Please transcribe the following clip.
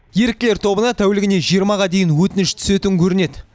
еріктілер тобына тәулігіне жиырмаға дейін өтініш түсетін көрінеді